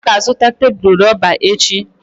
Ọ ga-azụta tebụl rọba echi.